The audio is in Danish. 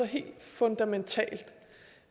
helt fundamentalt